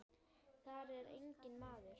Þar er enginn maður.